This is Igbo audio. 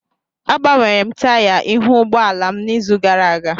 Agbanwere m taya ihu ụgbọ ala m n'izu gara aga